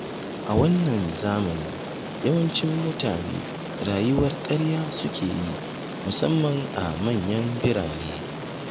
A wannan zamani yawancin mutane rayuwar ƙarya suke yi, musamman a manyan birane.